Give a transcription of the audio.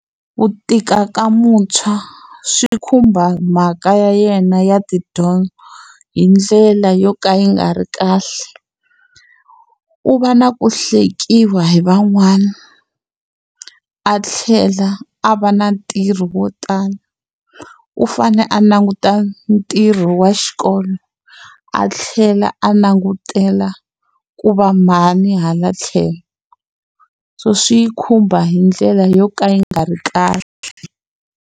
Ku tika ka muntshwa swi khumba mhaka ya yena ya tidyondzo hi ndlela yo ka yi nga ri kahle. U va na ku hlekiwa hi van'wana, a tlhela a va na ntirho wo tala. U fanele a languta ntirho wa xikolo, a tlhela a langutela ku va mhani hala tlhelo. So swi yi khumba hi ndlela yo ka yi nga ri kahle.